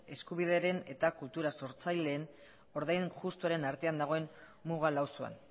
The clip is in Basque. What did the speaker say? eskubidearen eta kultura sortzaileen ordain justuaren artean dagoen muga lausoan